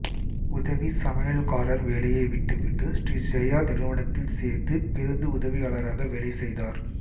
உதவிச் சமையல்காரர் வேலையை விட்டு விட்டு ஸ்ரீ ஜெயா நிறுவனத்தில் சேர்ந்து பேருந்து உதவியாளராக வேலை செய்தார்